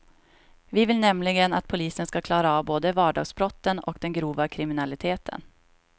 Vi vill nämligen att polisen ska klara av både vardagsbrotten och den grova kriminaliteten.